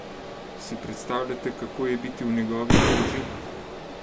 Si predstavljate, kako je biti v njegovi koži?